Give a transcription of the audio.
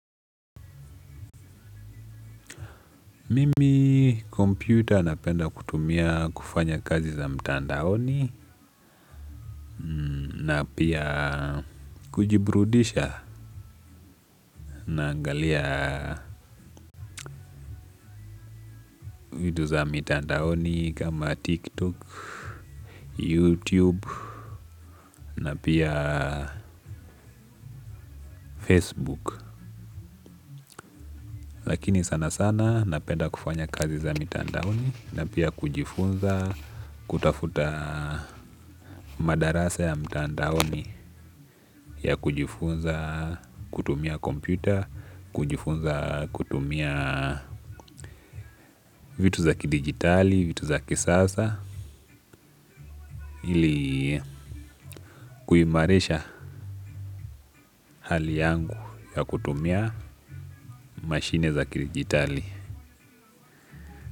Mimi kompyuta napenda kutumia kufanya kazi za mtandaoni na pia kujiburudisha naangalia vitu za mtandaoni kama tiktok, youtube na pia facebook. Lakini sana sana napenda kufanya kazi za mitandaoni na pia kujifunza kutafuta madarasa ya mtandaoni ya kujifunza kutumia komputer, kujifunza kutumia vitu za kidigitali, vitu za kisasa ili kuimarisha hali yangu ya kutumia mashine za kidigitali.